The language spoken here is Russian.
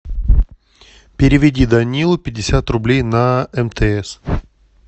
переведи данилу пятьдесят рублей на мтс